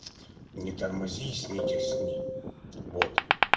не тормози сникерсни вот